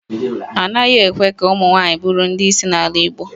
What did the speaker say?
A naghị ekwe ka ụmụnwaanyị bụrụ ndị isi n'ala Igbo